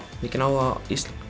mikinn áhuga